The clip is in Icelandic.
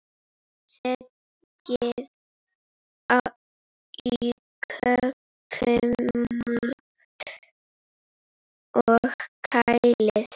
Setjið í kökumót og kælið.